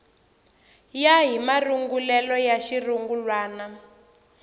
ya hi marungulelo ya xirungulwana